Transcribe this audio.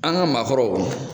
An ka maakɔrɔw.